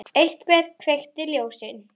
Til dæmis: Ég elska þig.